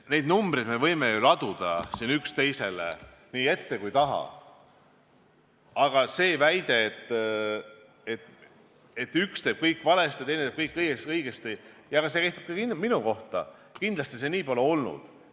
Neid numbreid me võime ju laduda siin üksteisele nii ette kui ka taha, aga see väide, et üks teeb kõik valesti ja teine teeb kõik õigesti – ja see kehtib ka minu kohta –, nii pole kindlasti olnud.